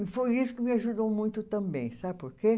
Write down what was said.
E foi isso que me ajudou muito também, sabe por quê?